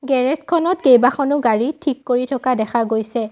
Garage খনত কেইবাখনো গাড়ী ঠিক কৰি থকা দেখা গৈছে।